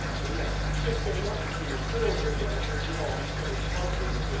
Rien, ou pire que rien, puisque les fonds européens continuent à enrichir les proches de M.